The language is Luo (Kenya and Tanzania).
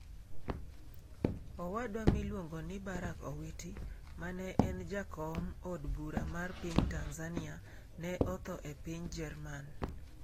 Owadwa miluongo ni Barack Owiti ma ne en jakom od bura mar piny Tanzania, ne otho e piny Jerman.